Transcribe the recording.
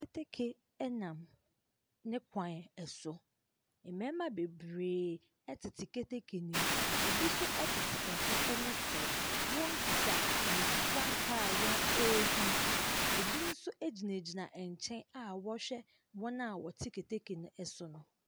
Keteke ɛnam ne kwan ɛso. Mmɛɛma bebree ɛtete keteke no nem. Ɛbi so ɛtete ɛho ɛne soro. Wɔn kita frankaa a wɔn ɛɛhim. Ɛbi nso ɛgyinagyina ɛnkyɛn a wɔɔhwɛ wɔn a ɛte keteke no ɛso no.